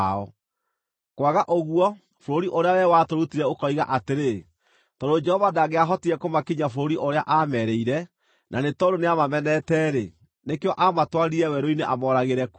Kwaga ũguo, bũrũri ũrĩa wee watũrutire ũkoiga atĩrĩ, ‘Tondũ Jehova ndangĩahotire kũmakinyia bũrũri ũrĩa aamerĩire, na nĩ tondũ nĩamamenete-rĩ, nĩkĩo aamatwarire werũ-inĩ amooragĩre kuo.’